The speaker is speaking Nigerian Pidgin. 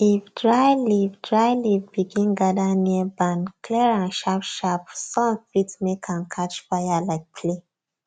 if dry leaf dry leaf begin gather near barn clear am sharpsharpsun fit make am catch fire like play